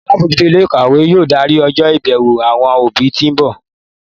Alábòójútó ilé ìkàwé yóò darí ọjọ́ ìbẹ̀wò àwọn òbí tí ń bọ̀